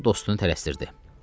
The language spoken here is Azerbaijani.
O dostunu tələsdirirdi.